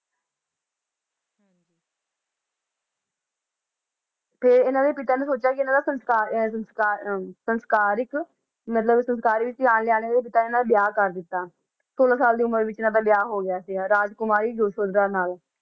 ਤੇ ਇਹਨਾਂ ਦੇ ਪਿਤਾ ਨੇ ਸੋਚਿਆ ਕਿ ਇਹਨਾਂ ਦਾ ਸੰਸਕਾਰ ਅਹ ਸੰਸਕਾਰ ਅਹ ਸੰਸਾਰਿਕ ਮਤਲਬ ਸੰਸਾਰਿਕ ਵਿਆਹ ਕਰ ਦਿੱਤਾ, ਛੋਲਾਂ ਸਾਲ ਦੀ ਉਮਰ ਵਿੱਚ ਇਹਨਾਂ ਦਾ ਵਿਆਹ ਹੋ ਗਿਆ ਸੀਗਾ, ਰਾਜਕੁਮਾਰੀ ਯਸ਼ੋਧਰਾ ਨਾਲ।